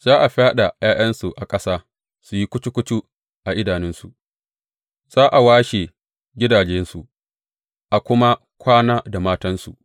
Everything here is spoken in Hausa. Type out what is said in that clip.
Za a fyaɗa ’ya’yansu a ƙasa su yi kucu kucu a idanunsu; za a washe gidajensu, a kuma kwana da matansu.